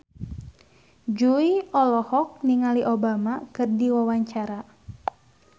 Jui olohok ningali Obama keur diwawancara